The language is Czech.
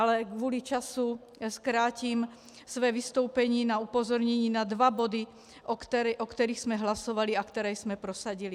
Ale kvůli času zkrátím své vystoupení na upozornění na dva body, o kterých jsme hlasovali a které jsme prosadili: